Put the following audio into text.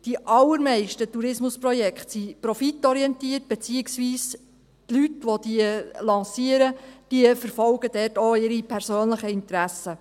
Die allermeisten Tourismusprojekte sind profitorientiert, beziehungsweise, die Leute, die diese lancieren, verfolgen dort auch ihre persönlichen Interessen.